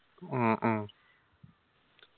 ആ അ